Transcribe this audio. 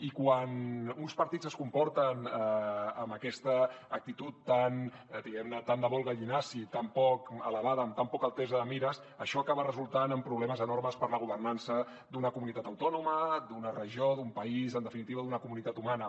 i quan uns partits es comporten amb aquesta actitud diguem ne tan de vol gallinaci tan poc elevada amb tan poca altesa de mires això acaba resultant en problemes enormes per a la governança d’una comunitat autònoma d’una regió d’un país en definitiva d’una comunitat humana